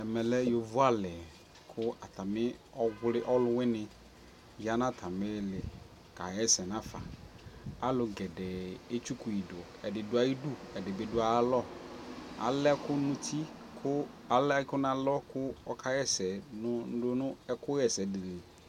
ɛmɛ lɛ yɔvɔ ali kʋ atami ɔwli ɔlʋwini yanʋatami ili kayɛsɛ nʋ afa, alʋ gɛdɛɛ ɛtsʋkʋi dʋ,ɛdi dʋ ayidʋ ɛdibi dʋ ayialɔ ,alɛ ɛkʋ nʋ ʋti kʋ alɛ ɛkʋ nʋ alɔ kʋ ɔkayɛsɛ